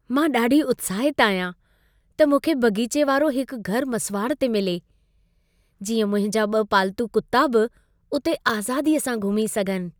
मां ॾाढी उत्साहितु आहियां त मूंखे बाग़ीचे वारो हिकु घर मसुवाड़ ते मिले। जीअं मुंहिंजा ॿ पाल्तू कुत्ता बि उते आज़ादीअ सां घुमी सघनि।